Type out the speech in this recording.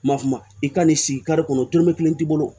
Ma f'a ma i ka n'i sigi kare kɔnɔ tɔrɔmɛ kelen t'i bolo